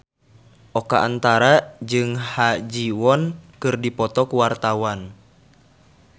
Oka Antara jeung Ha Ji Won keur dipoto ku wartawan